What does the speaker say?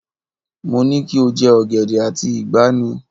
Mo ní kí o jẹ ọ̀gẹ̀dẹ̀ àti ìgbà ní!